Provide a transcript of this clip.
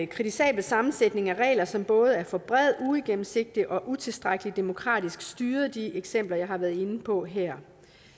kritisabel sammensætning af regler som både er for brede uigennemsigtige og utilstrækkeligt demokratisk styret de eksempler jeg har været inde på her